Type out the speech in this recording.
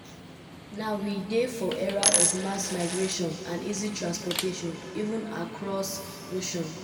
"now we dey for era of mass migration and easy transportation even across oceans. um